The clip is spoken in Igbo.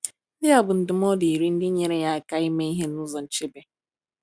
Ndị a bụ ndụmọdụ iri ndị nyere ya aka ime ihe n’ụzọ nchebe.